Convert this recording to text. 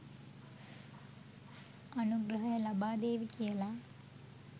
අනුග්‍රහය ලබාදේවි කියලා.